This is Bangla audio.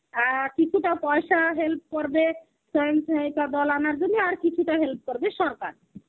আ কিছুটা পয়সা help করবে সঞ্চয়িকা বল আমার জন্যে আর কিছুটা help করবে সরকার.